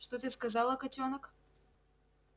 что ты сказала котёнок